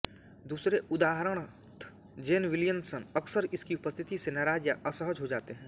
दूसरे उदाहरणार्थ Jane Levinson अक्सर इसकी उपस्थिति से नाराज़ या असहज हो जाते हैं